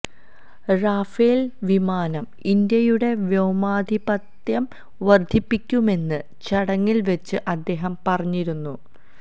Rafael വിമാനം ഇന്ത്യയുടെ വ്യോമാധിപത്യം വർധിപ്പിക്കുമെന്ന് ചടങ്ങിൽ വെച്ച് അദ്ദേഹം പറഞ്ഞിരുന്നു